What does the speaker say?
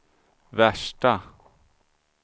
värsta